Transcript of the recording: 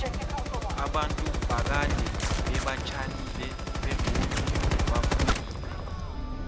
abantu bakade beba tjalile begodu bafuyile